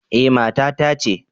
Eh, mata ta ce